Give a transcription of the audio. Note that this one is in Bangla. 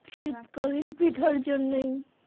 শীতকালীন পিঠার জন্যই।